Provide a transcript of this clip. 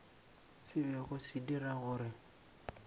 se bego se dira gore